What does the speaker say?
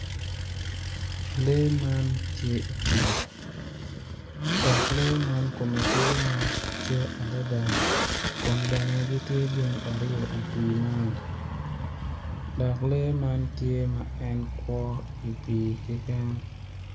Lee man tye i pii dok lee man kume tye ma ocwe adada kun bene gitye gin aryo i pii man dok lee ma tye ma en kwo i pii keken